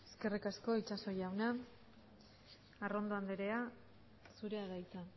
eskerrik asko itxaso jauna arrondo andrea zurea da hitza